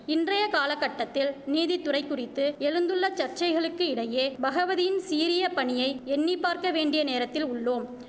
இன்றைய கால கட்டத்தில் நீதித்துறை குறித்து எழுந்துள்ளச் சர்ச்சைகளுக்கு இடையே பகவதியின் சீரியபணியை எண்ணிப்பார்க்க வேண்டிய நேரத்தில் உள்ளோம்